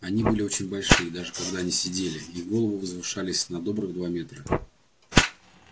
они были очень большие даже когда они сидели их головы возвышались на добрых два метра